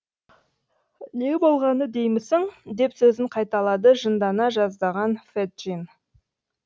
не болғаны деймісің деп сөзін қайталады жындана жаздаған феджин